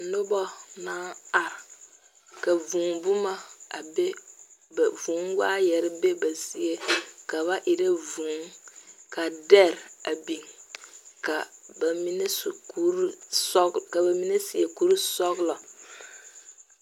Nuba na arẽ ka vũũ buma a be ba vũũ waayeri be ba zeɛ ka ba era vũũ ka deri a bing ka ba mene seɛ kuri sɔglo.